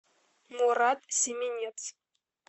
мурат семенец